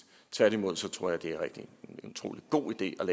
tværtimod tror jeg at det er en utrolig god idé at